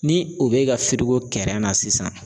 Ni o bɛ ka kɛrɛn na sisan